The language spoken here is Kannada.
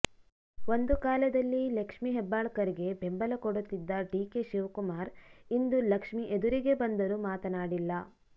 ಒಂದು ಕಾಲದಲ್ಲಿ ಲಕ್ಷ್ಮಿ ಹೆಬ್ಬಾಳ್ಕರ್ ಗೆ ಬೆಂಬಲ ಕೊಡುತ್ತಿದ್ದ ಡಿ ಕೆ ಶಿವಕುಮಾರ್ ಇಂದು ಲಕ್ಷ್ಮಿ ಎದುರಿಗೆ ಬಂದರು ಮಾತನಾಡಿಲ್ಲ